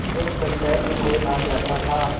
जब पंचायत में कोई आ जाता था